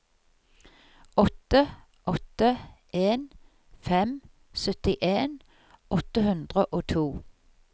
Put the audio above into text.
åtte åtte en fem syttien åtte hundre og to